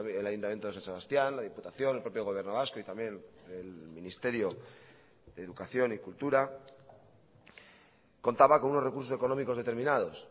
el ayuntamiento de san sebastián la diputación el propio gobierno vasco y también el ministerio de educación y cultura contaba con unos recursos económicos determinados